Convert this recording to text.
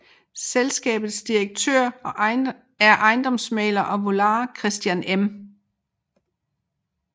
Selskabets direktør er ejendomsmægler og valuar Christian M